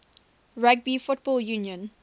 rugby football union